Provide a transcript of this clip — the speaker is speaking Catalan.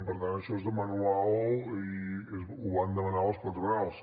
per tant això és de manual i ho van demanar les patronals